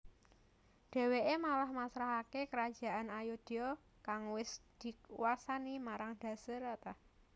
Dheweke malah masrahake Kerajaan Ayodya kang wis dikwasani marang Dasarata